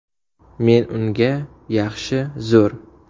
Men unga ‘Yaxshi, zo‘r.